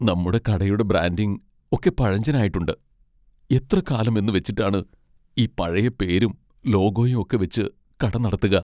നമ്മുടെ കടയുടെ ബ്രാൻഡിങ് ഒക്കെ പഴഞ്ചനായിട്ടുണ്ട്, എത്ര കാലം എന്നുവെച്ചിട്ടാണ് ഈ പഴയ പേരും ലോഗോയും ഒക്കെ വെച്ച് കട നടത്തുക?